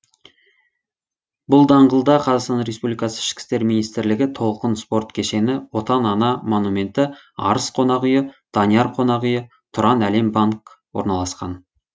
бұл даңғылда қазақстан республикасы ішкі істер министрлігі толқын спорт кешені отан ана монументі арыс қонақ үйі данияр қонақ үйі тұранәлембанк орналасқан